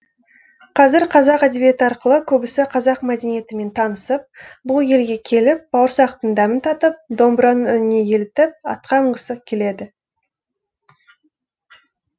қазір қазақ әдебиеті арқылы көбісі қазақ мәдениетімен танысып бұл елге келіп бауырсақтың дәмін татып домбыраның үніне елітіп атқа мінгісі келеді